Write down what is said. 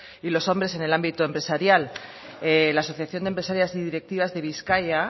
y los hombres en el ámbito empresarial la asociación de empresarias y directivas de bizkaia